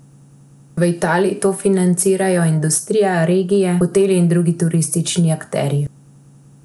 V Italiji to financirajo industrija, regije, hoteli in drugi turistični akterji.